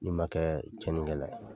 Ni ma kɛ cɛnnikɛla ye